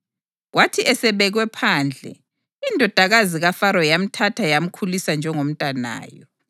Kwathi esebekwe phandle, indodakazi kaFaro yamthatha yamkhulisa njengomntanayo.